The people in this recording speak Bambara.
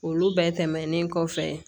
Olu bɛɛ tɛmɛnen kɔfɛ